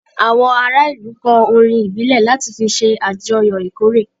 Àwọn ará ìlú kọ orin ìbílẹ̀ láti fi ṣe àjọyọ̀ ìkóré.